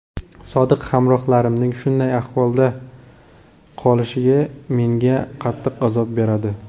Sodiq hamrohlarimning shunday ahvolda qolishi menga qattiq azob beradi.